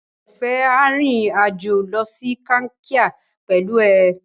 Oreọ̀fẹ́ a rìnrìn-àjò lọ sí Kankia pẹ̀lú ẹ.